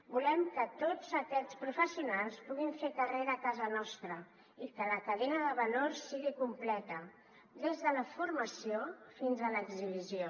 volem que tots aquests professionals puguin fer carrera a casa nostra i que la cadena de valor sigui completa des de la formació fins a l’exhibició